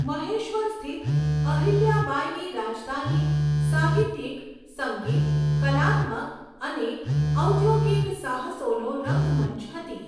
મહેશ્વર સ્થિત અહિલ્યા બાઈની રાજધાની સાહિત્યિક, સંગીત, કલાત્મક અને ઔદ્યોગિક સાહસોનો રંગમંચ હતી.